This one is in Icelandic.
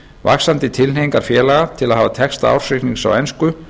vaxandi tilhneigingar félaga til að hafa texta ársreiknings á ensku